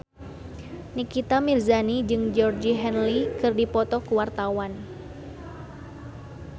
Nikita Mirzani jeung Georgie Henley keur dipoto ku wartawan